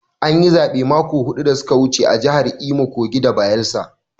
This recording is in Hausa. An yi zaɓe mako biyu da su ka wuce a jahar Imo, Kogi da Bayelsa.